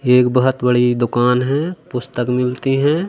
एक बहुत बड़ी दुकान है पुस्तक मिलती हैं।